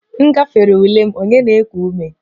M gafere ule m, onye na-eku ume